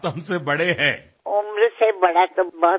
तुम्ही माझ्यापेक्षा मोठ्या आहात